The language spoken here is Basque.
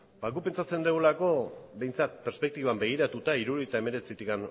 ba guk pentsatzen dugulako behintzat perspektiban begiratuta mila bederatziehun eta hirurogeita hemeretzitik